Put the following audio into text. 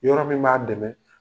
Yɔrɔ min b'a dɛmɛ.